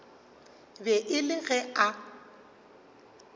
be e le ge a